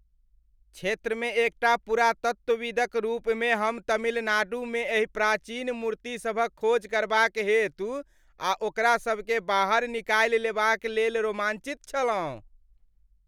क्षेत्रमे एकटा पुरातत्वविदक रूपमे हम तमिलनाडुमे एहि प्राचीन मूर्तिसभक खोज करबाक हेतु आ ओकरा सबकेँ बाहर निकालि लेबाक लेल रोमाञ्चित छलहुँ।